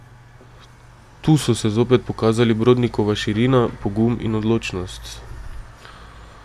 Tu so se zopet pokazali Brodnikova širina, pogum in odločnost.